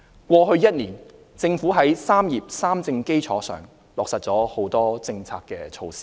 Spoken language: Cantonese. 過去一年，政府在"三業三政"基礎上落實了多項政策措施。